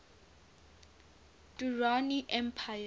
durrani empire